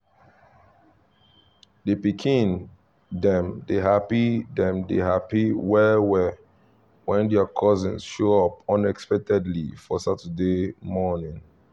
the pikin dem dey happy dem dey happy well well when their cousins show up unexpectedly for saturday morning